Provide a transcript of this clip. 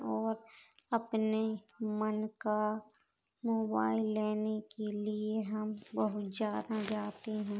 और अपने मन का मोबाइल लेने के लिये हम बोहत ज्यादा जाते हैं।